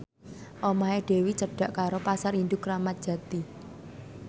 omahe Dewi cedhak karo Pasar Induk Kramat Jati